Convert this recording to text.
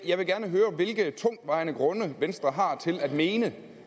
jeg vil gerne høre hvilke tungtvejende grunde venstre har til at mene